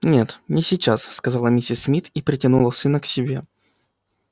нет не сейчас сказала миссис мид и притянула сына к себе